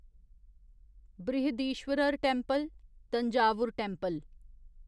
Brihadeeswarar temple Thanjavur temple